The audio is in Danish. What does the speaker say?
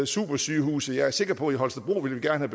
supersygehuse jeg er sikker på i holstebro gerne